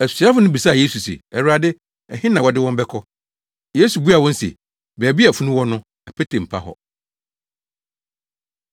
Asuafo no bisaa Yesu se, “Awurade, ɛhe na wɔde wɔn bɛkɔ?” Yesu buaa wɔn se, “Baabi a funu wɔ no, apete mpa hɔ!”